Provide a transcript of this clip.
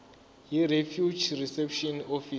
yirefugee reception office